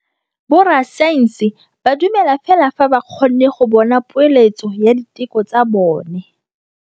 Borra saense ba dumela fela fa ba kgonne go bona poeletsô ya diteko tsa bone.